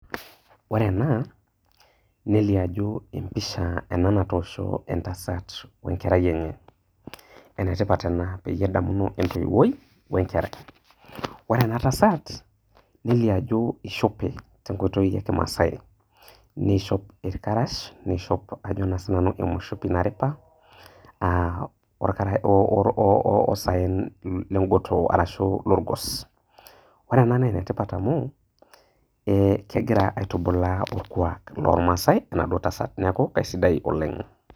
Ore ena nelio ajo empisha ena natoosho entasat we nkerai enye, ene tipat ena peyie edamuno entoiwuoi we nkerai. Ore ena tasat nelio ajo ishope te nkoitoi e kimaasai nishop irkarash, niishop ajo naa sinanu emushipi naripa aa or oo osaen le ng'otoo arashu lorgos. Ore ena naa ene tipat amu ee kigira aitubulaa orkuak loormaasai enaduoa tasat. Neeku kaisidai oleng' ena.